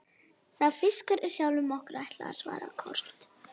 Sá fiskur er sjálfum okkur ætlaður, svaraði Kort.